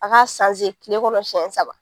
An ga sanze kile kɔnɔ sɛn saba